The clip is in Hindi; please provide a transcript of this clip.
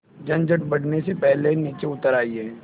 झंझट बढ़ने से पहले नीचे उतर आइए